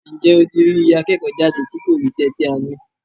Ǹjẹ́ ó tí rí iye akẹ́kọ̀ọ́ jáde tí kò ríṣẹ́ tí a ní?